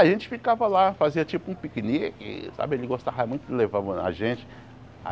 A gente ficava lá, fazia tipo um piquenique sabe, ele gostava muito levava a gente.